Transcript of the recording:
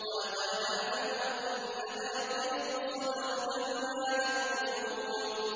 وَلَقَدْ نَعْلَمُ أَنَّكَ يَضِيقُ صَدْرُكَ بِمَا يَقُولُونَ